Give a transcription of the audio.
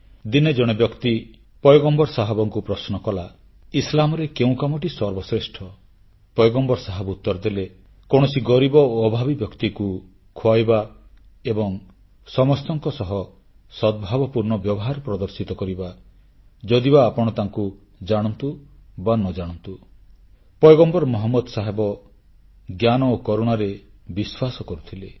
ଦିନେ ଜଣେ ବ୍ୟକ୍ତି ପୈଗମ୍ବର ମହମ୍ମଦଙ୍କୁ ପ୍ରଶ୍ନ କଲା ଇସଲାମରେ କେଉଁ କାମଟି ସର୍ବଶ୍ରେଷ୍ଠ ପୈଗମ୍ବର ମହମ୍ମଦ ଉତ୍ତର ଦେଲେ କୌଣସି ଗରିବ ଓ ଅଭାବୀ ବ୍ୟକ୍ତିକୁ ଖୁଆଇବା ଏବଂ ସମସ୍ତଙ୍କ ସହ ସଦ୍ଭାବପୂର୍ଣ୍ଣ ବ୍ୟବହାର ପ୍ରଦର୍ଶିତ କରିବା ଯଦିବା ଆପଣ ତାଙ୍କୁ ଜାଣନ୍ତୁ ବା ନ ଜାଣନ୍ତୁ ପୈଗମ୍ବର ମହମ୍ମଦ ଜ୍ଞାନ ଓ କରୁଣାରେ ବିଶ୍ୱାସ କରୁଥିଲେ